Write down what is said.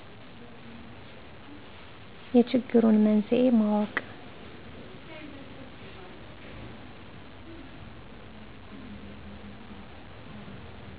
የችግሩን መንስኤ ማወቅ